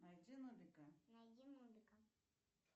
найди нубика